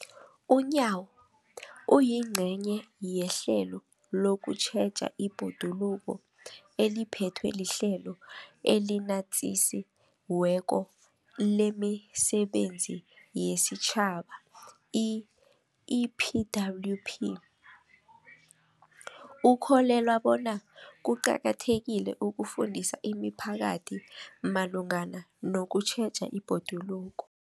UNyawo, oyingcenye yehlelo lokutjheja ibhoduluko eliphethwe liHlelo eliNatjisi weko lemiSebenzi yesiTjhaba, i-EPWP, ukholelwa bona kuqakathekile ukufundisa imiphakathi malungana nokutjheja ibhoduluko.